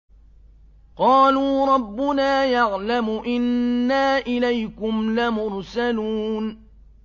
قَالُوا رَبُّنَا يَعْلَمُ إِنَّا إِلَيْكُمْ لَمُرْسَلُونَ